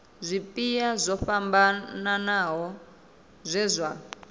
zwipia zwo fhambanaho zwe zwa